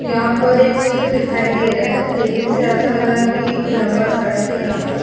यहाँ पर एक चित्र दिखाई दे रहा है देखने से ऐसा लग रहा है की एक लम्बा सडक है यहाँ पर --